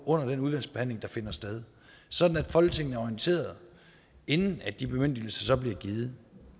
under den udvalgsbehandling der finder sted sådan at folketinget er orienteret inden de bemyndigelser så bliver givet